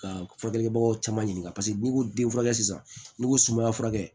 Ka baganw caman ɲininka paseke n'i ko den furakɛ sisan n'i ko sumayara kɛ